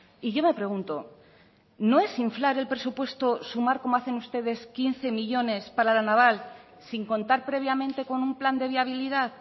y yo me pregunto no es inflar el presupuesto sumar como hacen ustedes quince millónes para la naval sin contar previamente con un plan de viabilidad